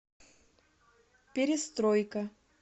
перестройка